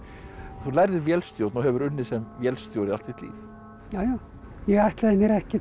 þú lærðir vélstjórn og hefur unnið sem vélstjóri allt þitt líf ég ætlaði mér ekkert